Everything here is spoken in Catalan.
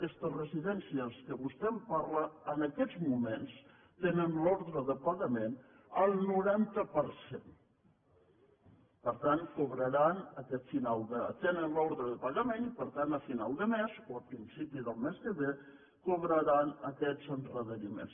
aquestes residències que vostè em parla en aquests moments tenen l’ordre de pagament al noranta per cent tenen l’ordre de pagament i per tant a final de mes o a principi del mes que ve cobraran aquests endarreriments